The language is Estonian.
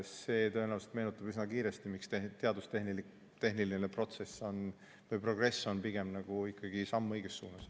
See tõenäoliselt meenutab üsna kiiresti, miks teaduse ja tehnika progress on pigem ikkagi samm õiges suunas.